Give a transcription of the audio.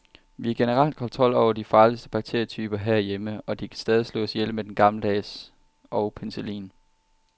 Vi har generelt kontrol over de farligste bakterietyper herhjemme, og de kan stadig slås ihjel med den gammeldags og penicillin.